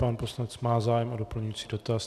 Pan poslanec má zájem o doplňující dotaz.